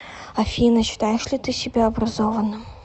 афина считаешь ли ты себя образованным